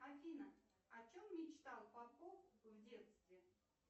афина о чем мечтал попов в детстве